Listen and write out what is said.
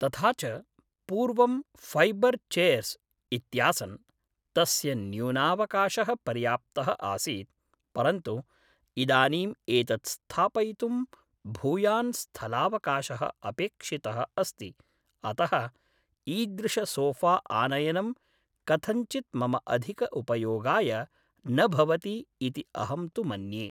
तथा च पूर्वं फ़ैबर् चेर्स् इत्यासन् तस्य न्यूनावकाशः पर्याप्तः आसीत् परन्तु इदानीं एतत् स्थापयितुं भूयान् स्थलावकाशः अपेक्षितः अस्ति अतः ईदृशसोफ़ा आनयनं कथञ्चित् मम अधिक उपयोगाय न भवति इति अहं तु मन्ये